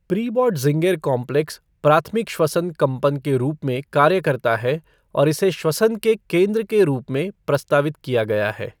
Pre-Bötzinger complex प्राथमिक श्वसन कम्पन के रूप में कार्य करता है और इसे श्वसन के केंद्र के रूप में प्रस्तावित किया गया है।